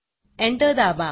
enter दाबा